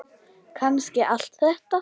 Kannski allt þetta.